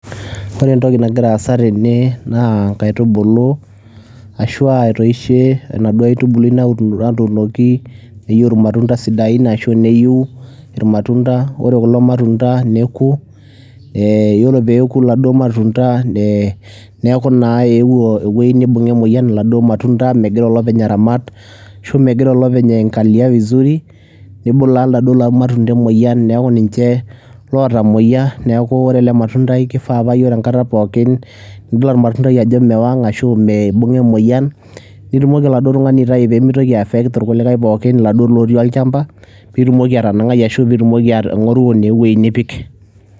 Ore entoki nagira aasa tene naa inkaitubulu ashua etoishe enaduo aitubului natuunoki neyiu irmatunda sidain ashu neyu irmatunda ore kulo matunda neku eh yiolo peeku iladuo matunda eh neeku naa eewuo ewuei nibung'a emoyian iladuo matunda megira olopeny aramat ashu megira olopeny ae angalia vizuri nibulaa iladuo matunda emoyian niaku ninche lotamoyia niaku ore ele matundai kifaa paa yiolo enkata pookin nidol ormatundai ajo mewang ashu me eibung'a emoyian nitumoki oladuo tung'ani aitai pemitoki ae affect irkulikae pookin iladuo lotii olchamba pitumoki atanang'ai ashu pitumoki uh aing'oru naa ewueji nipik.